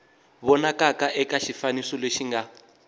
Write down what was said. vonakaka eka xifaniso lexi nga